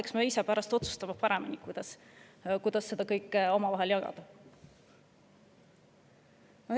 Eks me pärast ise otsusta paremini, kuidas seda kõike omavahel jagada.